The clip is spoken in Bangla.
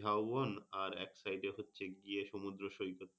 ঝাউবন এর এক side এ হচ্ছে গিয়ে সমুদ্র সৈকত।